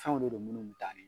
Fɛnw de don munnu be taa